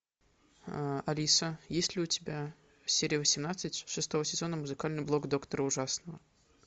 алиса есть ли у тебя серия восемнадцать шестого сезона музыкальный блог доктора ужасного